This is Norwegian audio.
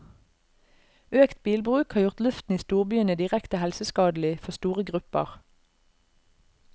Økt bilbruk har gjort luften i storbyene direkte helseskadelig for store grupper.